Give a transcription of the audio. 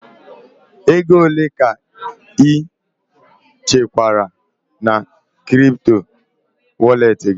Ego ole ka ị chekwara na kripto walet gị?